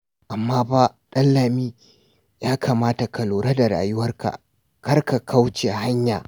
Amma fa Ɗanlami ya kamata ka lura da rayuwarka kar ka kauce hanya.